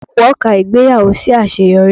Wọ́n ka ìgbéyàwó sí àṣeyọrí